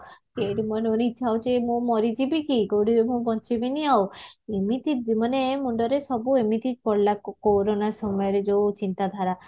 କୋଉଠି ପୁଣି ଇଛା ହଉଛି ମରି ଜିବିକି କୋଉଠି ମୁଁ ବଞ୍ଚିବିନି ଆଉ ଏମିତି ମାନେ ମୁଣ୍ଡରେ ସବୁ ଏମିତି ଗଲା କୋରୋନା ସମୟରେ ଯୋଉ ଚିନ୍ତା ଧାରା